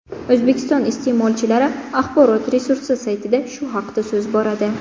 O‘zbekiston iste’molchilari axborot resursi saytida shu haqda so‘z boradi .